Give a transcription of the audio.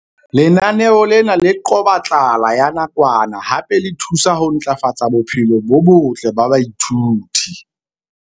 Lenaneo lena le qoba tlala ya nakwana hape le thusa ho ntlafatsa bophelo bo botle ba baithuti.